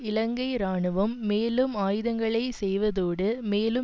இலங்கை இராணுவம் மேலும் ஆயுதங்களை செய்வதோடு மேலும்